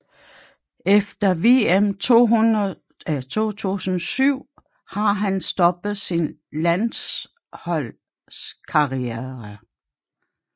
Efter vm 2007 har han stoppet sin landsholdskarriere